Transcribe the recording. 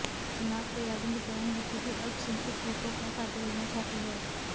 चुनाव तैयारियों के दौरान बीजेपी अल्पसंख्यक वोटों का फायदा लेना चाहती है